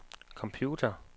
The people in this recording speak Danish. computer